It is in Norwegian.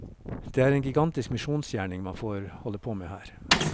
Det er en gigantisk misjonsgjerning man får holde på med her.